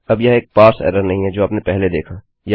अब यह एक पारसे एरर नहीं है जो आपने पहले देखा